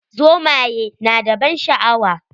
Zomayi na da ban sha'awa.